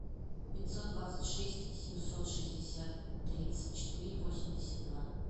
пятьсот двадцать шесть семьсот шестьдесят тридцать четыре восемьдесят два